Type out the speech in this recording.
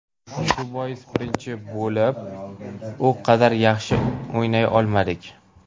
Shu bois birinchi bo‘lim u qadar yaxshi o‘ynay olmadik.